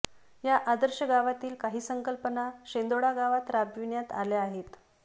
या आदर्श गावातील काही संकल्पना शेंदोळा गावात राबविण्यात आल्या आहेत